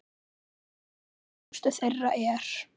Frægust þeirra er